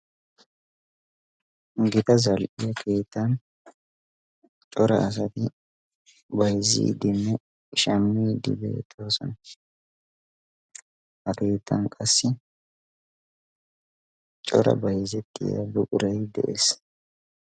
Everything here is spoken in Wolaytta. gita zal77iya keettan cora asati bayzziiddinne shammiiddi beettoosona. ha keettan qassi cora bayzzettiyaa buquray de7ees.